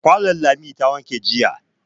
Kwano Lami ta wanke jiya.